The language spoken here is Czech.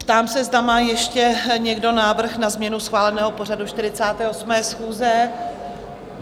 Ptám se, zda má ještě někdo návrh na změnu schváleného pořadu 48. schůze?